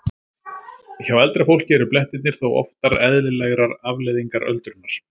Hjá eldra fólki eru blettirnir þó oftar eðlilegrar afleiðingar öldrunar.